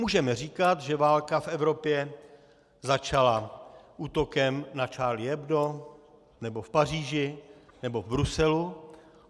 Můžeme říkat, že válka v Evropě začala útokem na Charlie Hebdo nebo v Paříži nebo v Bruselu.